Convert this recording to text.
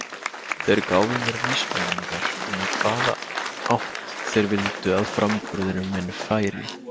Þeir gáfu mér vísbendingar um í hvaða átt þeir vildu að framburður minn færi.